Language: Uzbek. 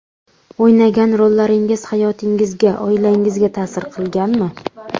O‘ynagan rollaringiz hayotingizga, oilangizga ta’sir qilganmi?